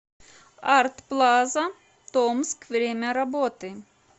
арт плаза томск время работы